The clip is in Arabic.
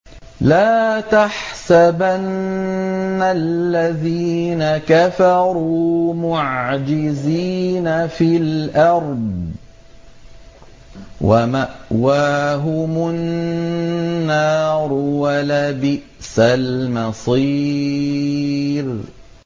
لَا تَحْسَبَنَّ الَّذِينَ كَفَرُوا مُعْجِزِينَ فِي الْأَرْضِ ۚ وَمَأْوَاهُمُ النَّارُ ۖ وَلَبِئْسَ الْمَصِيرُ